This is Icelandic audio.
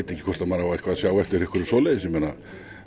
ekki hvort maður á að sjá eftir einhverju svoleiðis ég meina